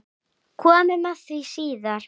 Komum að því síðar.